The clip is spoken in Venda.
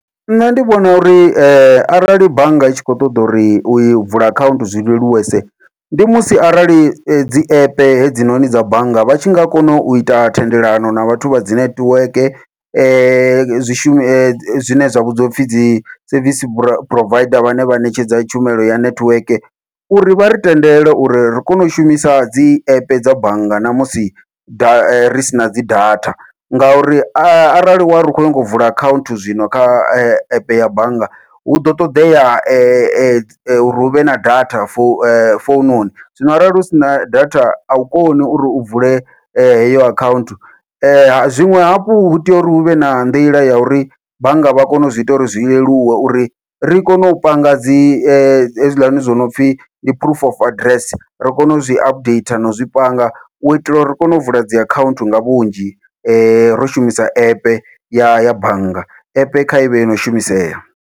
Nṋe ndi vhona uri arali bannga i tshi kho ṱoḓa uri u i vula akhaunthu zwi leluwese, ndi musi arali dzi app hedzinoni dza bannga vha tshi nga kona uita thendelano na vhathu vha dzi nethiweke zwi shume zwine zwa vhidziwa upfhi dzi service provider vhane vha ṋetshedza tshumelo ya nethiweke uri vha ri tendele uri ri kone u shumisa dzi app dza bannga namusi da ri sina dzi data, ngauri arali wari u khou nyanga u vula akhaunthu zwino kha epe ya bannga huḓo ṱoḓea uri huvhe na data fo foununi. Zwino arali hu sina data au koni uri u vule heyo akhaunthu, zwiṅwe hafhu hu tea uri huvhe na nḓila ya uri bannga vha kone u zwi ita uri zwi leluwe uri ri kone u panga dzi hezwiḽani zwo nopfhi ndi phurufu of aḓirese, ro kona uzwi updater no zwi panga uitela uri ri kone u vula dzi akhaunthu nga vhunzhi ro shumisa app ya ya bannga app kha ivhe yono shumisea.